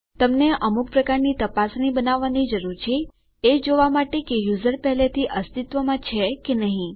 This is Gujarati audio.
તમને અમુક પ્રકારની તપાસણી બનાવવાની જરૂર છે એ જોવા માટે કે યુઝરનેમ પહેલાથી અસ્તિત્વમાં છે કે નથી